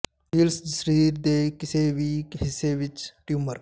seals ਜ ਸਰੀਰ ਦੇ ਕਿਸੇ ਵੀ ਹਿੱਸੇ ਵਿਚ ਟਿਊਮਰ